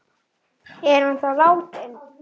Er hann þá látinn?